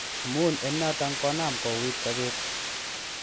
Amun en noton konam kouit sopet kot.